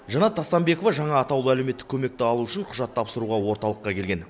жанат тастанбекова жаңа атаулы әлеуметтік көмекті алу үшін құжат тапсыруға орталыққа келген